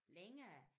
Længere